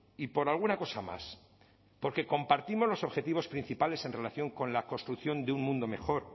y por alguna cosa más porque compartimos los objetivos principales en relación con la construcción de un mundo mejor